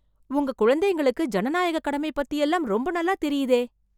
உங்க குழந்தைங்களுக்கு ஜனநாயக கடமை பத்தி எல்லாம் ரொம்ப நல்லாத் தெரியுதே.